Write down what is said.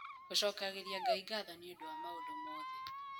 Gũcokagĩria Ngai Ngatho nĩ Ũndũ wa Maũndũ Othe